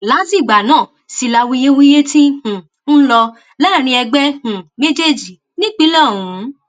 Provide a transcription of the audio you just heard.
látìgbà náà sì làwuyewuye tí um ń lọ láàrin ẹgbẹ um méjèèjì nípínlẹ ọhún